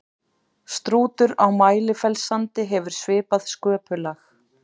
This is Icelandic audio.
strútur á mælifellssandi hefur svipað sköpulag